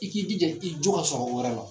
I k'i jija i jo ka sɔrɔ o wɛrɛ la